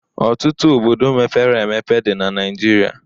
Ọtụtụ obodo mepere emepe dị na Naịjiria.